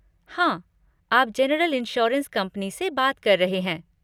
हाँ, आप general insurance company से बात कर रहे हैं।